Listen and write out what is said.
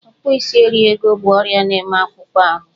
Ọkpụisieriego bụ ọrịa na-eme n'akpụkpọ ahụ.